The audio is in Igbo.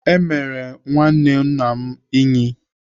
Emere nwanne nna m Ínyì.